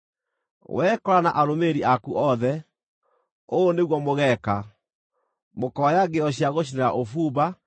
Wee Kora na arũmĩrĩri aku othe, ũũ nĩguo mũgeeka: mũkoya ngĩo cia gũcinĩra ũbumba,